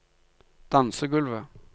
dansegulvet